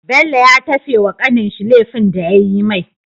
bello ya tafe wa kanin shi lefin da yayi mai